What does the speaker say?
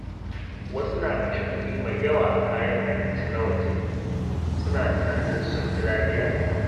Wasu na kashe kuɗi mai yawa a kayan abinci na waje, suna tunanin sun fi lafiya.